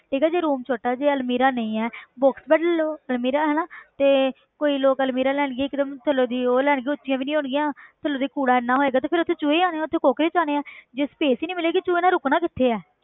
ਠੀਕ ਹੈ ਜੇ room ਛੋਟਾ ਜਿਹਾ ਅਲਮੀਰਾ ਨਹੀਂ ਹੈ box ਵੱਡ ਲਓ ਅਲਮੀਰਾ ਹੈ ਨਾ ਤੇ ਕੋਈ ਲੋਕ ਅਲਮੀਰਾ ਲੈ ਲਈਏ ਇੱਕ ਤਾਂ ਥੱਲੋਂ ਦੀ ਉਹ ਲੈਣਗੇ ਉੱਚੀਆਂ ਵੀ ਨੀ ਹੋਣਗੀਆਂ ਥੱਲੋਂ ਦੀ ਕੂੜਾ ਇੰਨਾ ਹੋਏਗਾ ਤੇ ਫਿਰ ਉੱਥੇ ਚੂਹੇ ਹੀ ਆਉਣੇ ਆਂ ਉੱਥੇ ਕੋਕਰੋਚ ਆਉਣੇ ਹੈ ਜੇ space ਹੀ ਨੀ ਮਿਲੇਗੀ ਚੂਹੇ ਨੇ ਰੁਕਣਾ ਕਿੱਥੇ ਹੈ